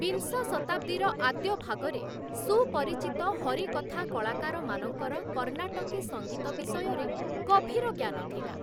ବିଂଶ ଶତାବ୍ଦୀର ଆଦ୍ୟ ଭାଗରେ ସୁପରିଚିତ ହରିକଥା କଳାକାରମାନଙ୍କର କର୍ଣ୍ଣାଟକୀ ସଂଗୀତ ବିଷୟରେ ଗଭୀର ଜ୍ଞାନ ଥିଲା,